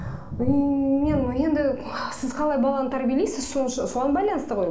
мен енді сіз қалай баланы тәрбиелейсіз соған байланысты ғой